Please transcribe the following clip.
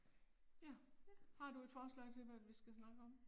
Ja. Har du et forslag til hvad vi skal snakke om?